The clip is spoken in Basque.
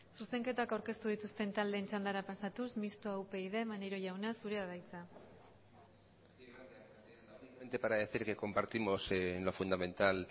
zuzenketak aurkeztu dituzten taldeen txandara pasatuz mistoa upyd maneiro jauna zurea da hitza para decir que compartimos en lo fundamental